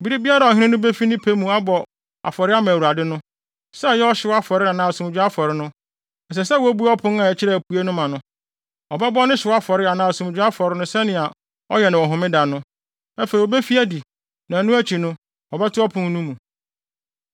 “ ‘Bere biara a ɔhene no befi ne pɛ mu abɔ afɔre ama Awurade no, sɛ ɛyɛ ɔhyew afɔre anaa asomdwoe afɔre no, ɛsɛ sɛ wobue ɔpon a ɛkyerɛ apuei no ma no. Ɔbɛbɔ ne ɔhyew anaa nʼasomdwoe afɔre no sɛnea ɔyɛ no wɔ Homeda no. Afei obefi adi, na ɛno akyi no wɔbɛto ɔpon no mu.